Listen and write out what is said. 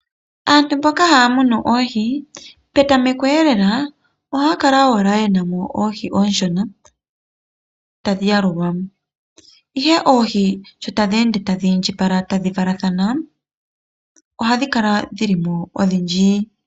Aantu mboka haya munu oohi petameko lela oha ya kala owala ye namo oohi ooshona tadhi yalulwa ashike oohi sho tadhi ende tadhi indjipala tadhi valathana oha dhi kala dhilimo odhindji.